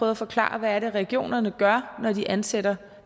at forklare hvad det er regionerne gør når de ansætter